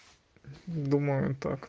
думаю